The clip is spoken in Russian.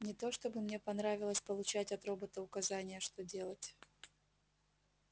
не то чтобы мне понравилось получать от робота указания что делать